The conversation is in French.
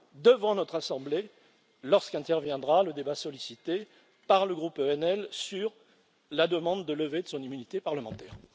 devant notre assemblée lorsqu'interviendra le débat sollicité par le groupe ENL sur la demande de levée de son immunité parlementaire.